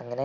അങ്ങനെ